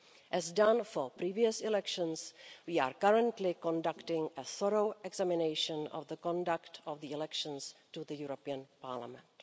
As was done for previous elections, we are currently conducting a thorough examination of the conduct of the elections to the European Parliament.